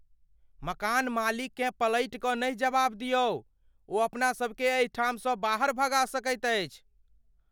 मकान मालिककेँ पलटिकँ नहि जवाब दियौ। ओ अपना सभकेँ एहिठामसँ बाहर भगा सकैत अछि।